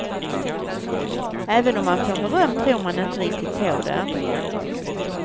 Även om man får beröm tror man inte riktigt på det.